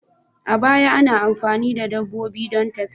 A baya, ana amfani da dabbobi don tafiya.